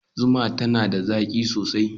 Zuma tana da zaƙi sosai.